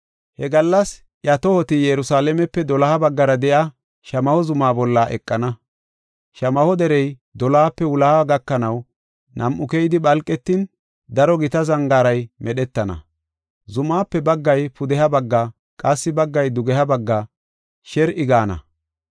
He gallas iya tohoti Yerusalaamepe doloha baggara de7iya Shamaho zuma bolla eqana. Shamaho Derey dolohape wuloha gakanaw nam7u keyidi phalqetin, daro gita zangaaray medhetana. Zumaape baggay pudeha bagga, qassi baggay dugeha bagga sher7i gaana.